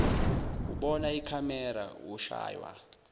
ubona ikhamera ushaywa